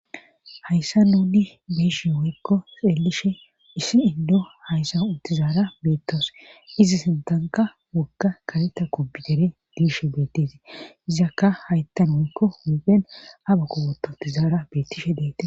Hayssa nuudi biishe woekko xeelishe issi indo hayssa uttizaara beettaws izi sintanka wogga kaleta kobidere diishe bettesi izakka hayttan hoykko huphen abha kowototizaara beettishe deete